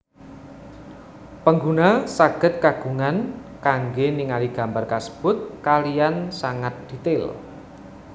Pengguna sagèd kagungan kanggè ningali gambar kasèbut kaliyan sangat dètail